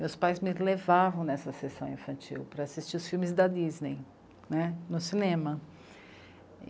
Meus pais me levavam nessa sessão infantil para assistir os filmes da Disney né, no cinema.